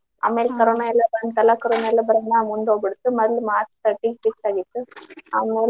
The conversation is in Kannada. ಆಮೇಲೆ ಕೊರೋನಾ ಎಲ್ಲ ಬಂತಲಾ, ಕೋರನಾ ಎಲ್ಲ ಬರಾನ ಮುಂದ್ ಹೋಗಿಬಿಡ್ತ ಮೊದ್ಲು March thirty ಗೆ fix ಆಗಿತ್ತ್ ಆಮೇಲೆ.